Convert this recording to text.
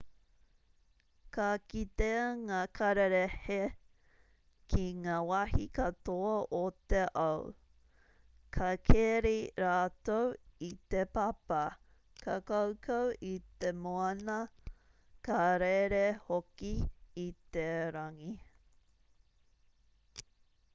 ka kitea ngā kararehe ki ngā wahi katoa o te ao ka keri rātou i te papa ka kaukau i te moana ka rere hoki i te rangi